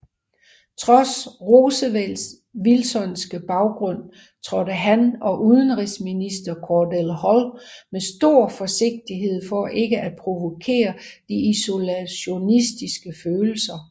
Trods Roosevelts wilsonske baggrund trådte han og udenrigsminister Cordell Hull med stor forsigtighed for ikke at provokere de isolationistiske følelser